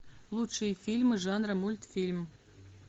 лучшие фильмы жанра мультфильм